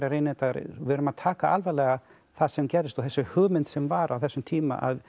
við verðum að taka alvarlega það sem gerðist og þessi hugmynd sem var á þessum tíma að